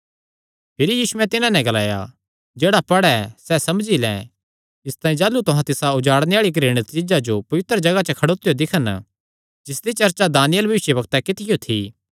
इसतांई जाह़लू तुहां तिसा उजाड़णे आल़ी घृणित चीज्जा जो पवित्र जगाह च खड़ोतियो दिक्खन जिसदी चर्चा दानिय्येल भविष्यवक्तैं कित्तियो थी जेह्ड़ा पढ़े सैह़ समझे